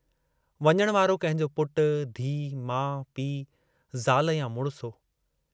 वञण वारो कंहिंजो पुटु, धीउ, माउ, पीउ, ज़ाल या मुड़िस हो।